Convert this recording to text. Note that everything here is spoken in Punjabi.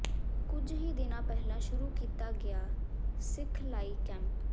ਕੁਝ ਹੀ ਦਿਨ ਪਹਿਲਾਂ ਸ਼ੁਰੂ ਕੀਤਾ ਗਿਆ ਸਿਖਲਾਈ ਕੈਂਪ